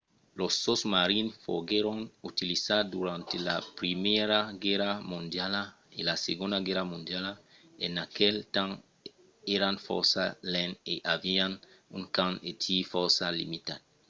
los sosmarins foguèron utilizats durant la primièra guèrra mondiala e la segonda guèrra mondiala. en aquel temps èran fòrça lents e avián un camp de tir fòrça limitat